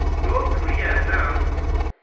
north korea announced